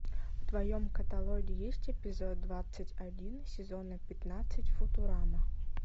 в твоем каталоге есть эпизод двадцать один сезона пятнадцать футурама